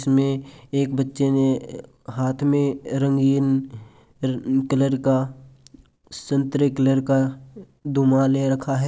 इसमें एक बच्चे ने हाथ में रंगीन कलर का संतरे कलर का धूमा ले रखा है।